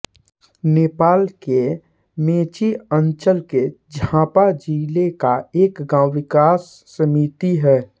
नेपाल के मेची अंचलके झापा जिला का एक गाँव विकास समिति है